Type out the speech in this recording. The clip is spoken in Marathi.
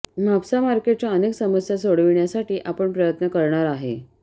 म्हापसा मार्केटच्या अनेक समस्या सोडविण्यासाठी आपण प्रयत्न करणार आहे